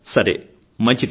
సరే మంచిది